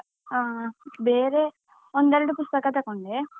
ಹಾ, ಬೇರೆ ಒಂದೆರಡು ಪುಸ್ತಕ ತಕೊಂಡೆ.